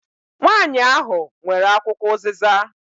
Nwanyi ahụ nwere akwụkwọ uziza.